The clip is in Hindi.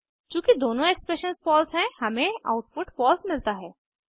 चूँकि दोनों एक्सप्रेशंस फॉल्स हैं हमें आउटपुट फॉल्स मिलता है